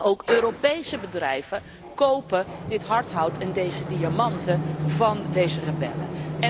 Ook Europese bedrijven kopen dit hardhout en deze diamanten van deze rebellen.